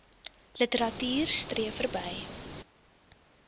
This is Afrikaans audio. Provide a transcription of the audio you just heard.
literatuur streef verby